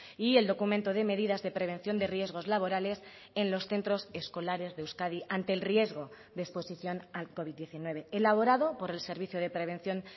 y el documento de medidas de prevención de riesgos laborales en los centros escolares de euskadi ante el riesgo de exposición al covid diecinueve elaborado por el servicio de prevención